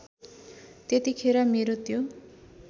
त्यतिखेर मेरो त्यो